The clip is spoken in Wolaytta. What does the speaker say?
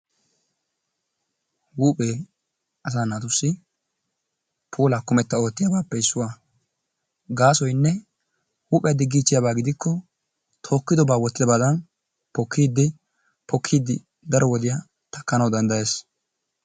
Huuphphee asaa naatussi pulaaa kummetta ottiyaabappe issuwaa. Gasoynne huuphphiyaa diigichiyaaba gidikko pookkidaba wottidabadan pookkidi daro woodiyaa taakkanawu danddayees.